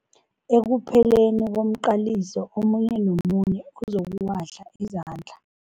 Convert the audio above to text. Ekupheleni komqaliso omunye nomunye uzokuwahla izandla.